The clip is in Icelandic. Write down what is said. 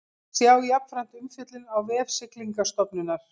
Sjá jafnframt umfjöllun á vef Siglingastofnunar